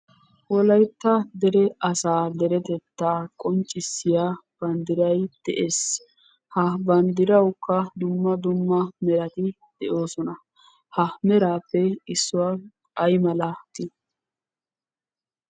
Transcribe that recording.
Wolaytta dere asaa deretettaa qonccissiya banddiray de'ees. Ha banddirawukka dumma dumma merati de'oosona. Ha meraappe issuwa ay malatii?